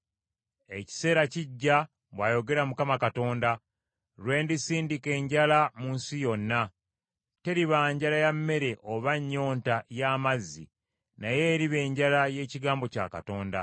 “Ekiseera kijja,” bw’ayogera Mukama Katonda, “lwe ndisindika enjala mu nsi yonna, teriba njala ya mmere oba nnyonta y’amazzi, naye eriba enjala y’ekigambo kya Katonda.